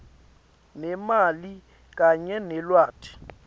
nemali kanye nelwati